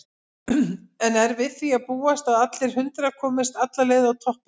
En er við því að búast að allir hundrað komist alla leið á toppinn?